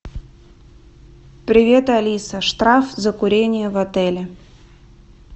привет алиса штраф за курение в отеле